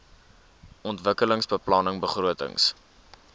ontwikkelingsbeplanningbegrotings